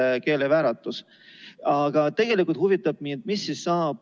Mida te neile lapsevanematele ja väga paljudele kooliõpetajatele ütlete, kes täpselt nii arvavad?